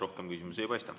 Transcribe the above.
Rohkem küsimusi ei paista.